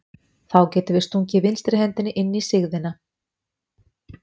Þá getum við stungið vinstri hendinni inn í sigðina.